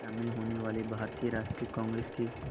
शामिल होने वाले भारतीय राष्ट्रीय कांग्रेस के